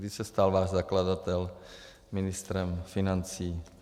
Kdy se stal váš zakladatel ministrem financí?